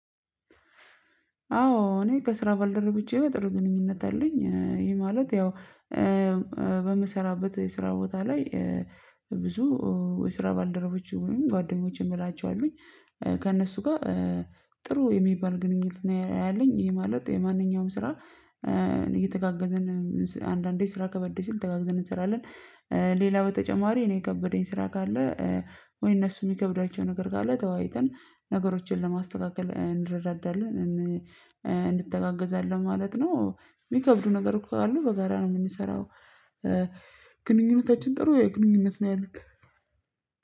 አዎ እኔ ከስራ ባልደረቦቼ ጋር ጥሩ ግንኙነት አለኝ። ይሄ ማለት ያው የስራ ቦታ ላይ ብዙ የስራ ባልደረቦች የሆኑኝ ጓደኞች የምላቸው አሉኝ። ከእነሱ ጋር ጥሩ የሚባል ግንኙነት ያለኝ ይሄ ማለት የማንኛውም ስራ እየተጋገዘን አንዳንዴ ስራ ከበድ ሲል ተጋግዘን እንሰራለን። ሌላ በተጨማሪ እኔ የከበደኝ ስራ ካለ ወይ እነሱ የሚከብዳቸው ነገር ካለ ተወያይተን ነገሮችን ለማስተካከል እንረዳዳለን። እንተጋገዛለን ማለት ነው። የሚከብዱ ነገር ካሉ በጋራ ነው የምንሰራው። ግንኙነታችን ጥሩ የግንኙነት ነው ያለን።